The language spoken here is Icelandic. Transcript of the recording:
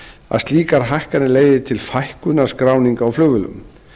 að slíkar hækkanir leiði til fækkunar skráninga á flugvélum